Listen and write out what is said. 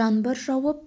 жаңбыр жауып